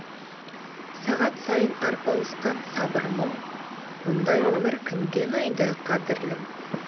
сағат сайын арпалысқан сабыр мұң мұндай өмір кімге ұнайды қадірлім